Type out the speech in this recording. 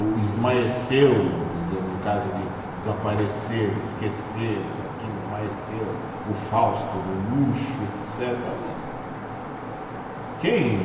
O esmaeceu, no caso de desaparecer, de esquecer, isso e aquilo esmaeceu, o Fausto do luxo, etcetera, quem